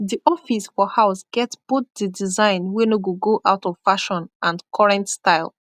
di office for house get both di design wey nor go go out of fashion and korrent style